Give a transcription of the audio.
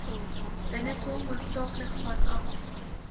binnekom hoofsaaklik vanaf